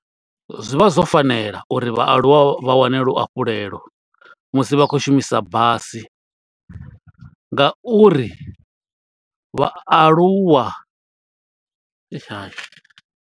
Zwi vha zwo fanela uri vhaaluwa vha wane luafhulelo musi vha khou shumisa basi, nga uri vhaaluwa eish ha.